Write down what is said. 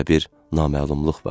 Və bir naməlumluq vardı.